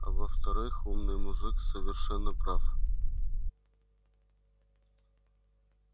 а во-вторых умный мужик совершенно прав